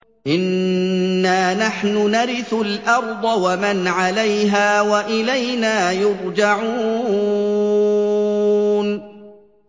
إِنَّا نَحْنُ نَرِثُ الْأَرْضَ وَمَنْ عَلَيْهَا وَإِلَيْنَا يُرْجَعُونَ